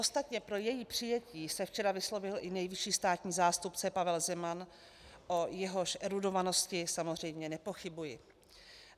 Ostatně pro její přijetí se včera vyslovil i nejvyšší státní zástupce Pavel Zeman, o jehož erudovanosti samozřejmě nepochybuji.